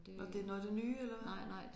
Nåh det er noget af det nye eller hvad?